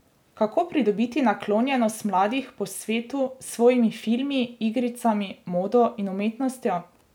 Kako pridobiti naklonjenost mladih po svetu s svojimi filmi, igricami, modo in umetnostjo?